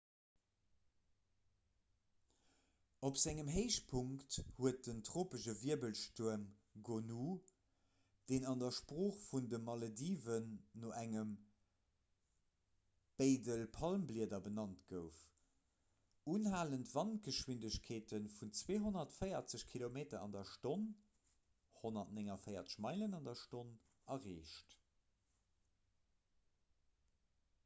op sengem héichpunkt huet den tropesche wirbelstuerm gonu deen an der sprooch vun de malediven no engem beidel palmblieder benannt gouf unhalend wandgeschwindegkeete vun 240 kilometer an der stonn 149 meilen an der stonn erreecht